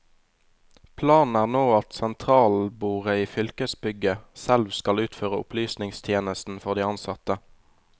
Planen er nå at sentralbordet i fylkesbygget selv skal utføre opplysningstjenesten for de ansatte.